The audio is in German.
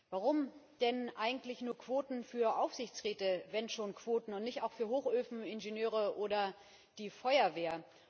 Warum denn eigentlich nur Quoten für Aufsichtsräte wenn schon Quoten und nicht auch für Hochofeningenieure oder die Feuerwehr?